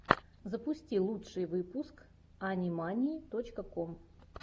запусти лучший выпуск ани мании точка ком